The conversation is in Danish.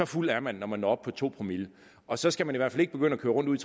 fuld er man når man når op på to promille og så skal man i hvert fald ikke begynde at køre rundt ude